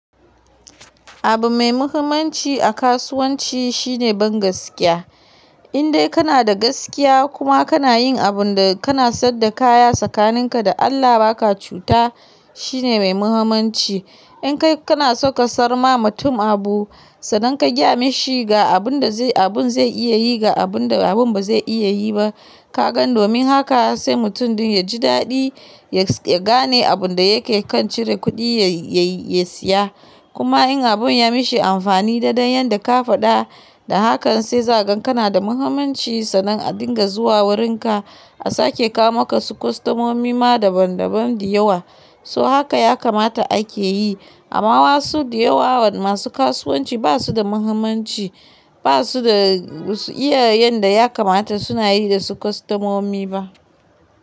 Abu mai muhimmanci a kasuwanci shine bangaskiya. In dai kana da gaskiya kuma kana yin abun da kana saida kaya tsakaninka da Allah ba ka cuta, shine mai muhimmanci. In kai kana so ka siyar ma mutum abu sannan ka gaya mashi ga abun da zai iya yi ga abun da abun ba zai iya yi ba, ka ga domin haka sai mutum din ya ji daɗi ya gane abun da yake kan cire kuɗi ya siya. Kuma in abun ya mishi amfani daidai yanda ka faɗa, da hakan sai za kaga kana da muhimmanci sannan a dinga zuwa wurinka a sake kawo maka su kostomomi ma daban daban da yawa. So haka ya kamata ake yi amma wasu da yawa wa masu kasuwanci ba su da muhimmanci, ba su da basu iya yanda ya kamata suna yi da su kostomomi ba.